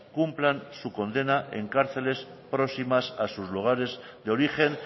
cumplan su condena en cárceles próximas a sus lugares de origen